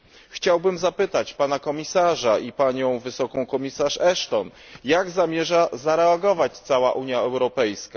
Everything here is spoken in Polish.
Chciałbym zapytać Pana Komisarza i Panią Wysoką Komisarz Ashton, jak zamierza zareagować cała Unia Europejska?